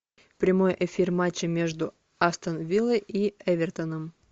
прямой эфир матча между астон виллой и эвертоном